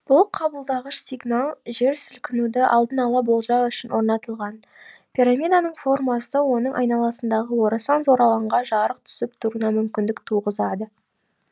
бұл қабылдағыш сигнал жер сілкінуді алдын ала болжау үшін орнатылған пирамиданың формасы оның айналасындағы орасан зор алаңға жарық түсіп тұруына мүмкіндік туғызады